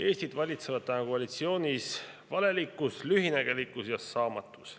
Eestit valitsevad praegu koalitsioonis valelikkus, lühinägelikkus ja saamatus.